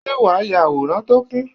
Ṣé wàá ya àwòrán tó kún?